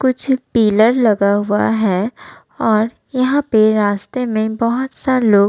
कुछ पिल्लर लगा हुआ है और यहां पे रास्ते बहुत सा लोग --